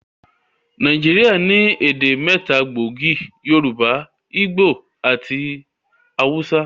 Nàìjíríà ní èdè mẹ́ta gbòógì: Yorùbá, ígbò àti awúsá